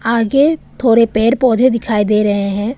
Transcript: आगे थोड़े पेड़ पौधे दिखाई दे रहे हैं।